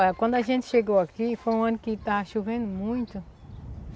Olha, quando a gente chegou aqui, foi um ano que estava chovendo muito.